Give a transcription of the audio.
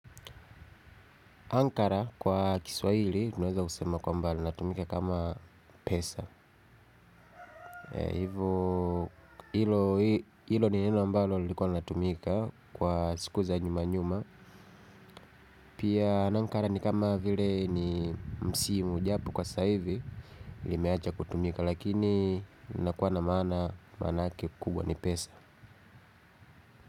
Ankara kwa kiswaili tunaeza kusema kwa mbali natumika kama pesa. Hivo ilo ni neno ambalo lilikuwa linatumika kwa siku za nyuma nyuma. Pia na Ankara ni kama vile ni msi mujapo kwa saivi limeacha kutumika lakini nakuwa na maana manake kubwa ni pesa.